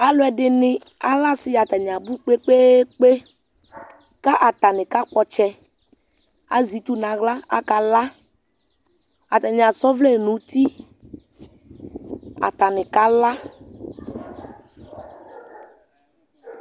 Alʋ ɛdini alɛ asɩ atani abʋ kpe kpe kpe kʋ atani kakpɔ ɔtsɛ azɛ itsu nʋ aɣla kʋ akala atani asa ɔvlɛ nʋ ʋti atani kala